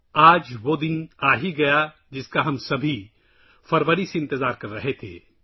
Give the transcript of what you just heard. آج وہ دن آ گیا ہے جس کا ہم سب فروری سے انتظار کر رہے تھے